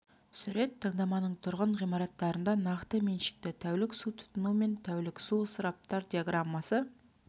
сурет таңдаманың тұрғын ғимараттарында нақты меншікті тәулік су тұтыну мен тәулік су ысыраптар диаграммасы